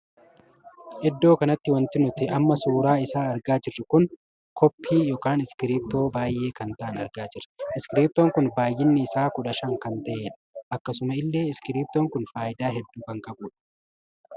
Iddoo kanatti wanti nuti amma suuraa isaa argaa jirru kun koppii ykn iskiriptoo baay'ee taa'an argaa jirra. iskiriptoon kun baay'inni isaa kudha shan kan tahedha. akkasuma illee iskiriptoo kun faayidaa hedduu kan qabudha.